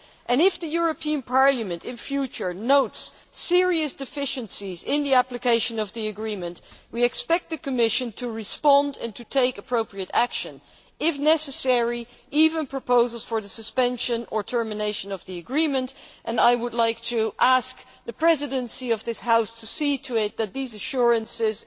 If, in future, the European Parliament notes serious deficiencies in the application of the agreement, we expect the Commission to respond and to take appropriate action including, if necessary, the submission of proposals for the suspension or termination of the agreement. I would like to ask the Presidency of this House to see to it that these assurances,